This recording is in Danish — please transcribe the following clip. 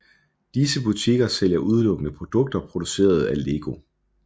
Disse butikker sælger udelukkende produkter produceret af LEGO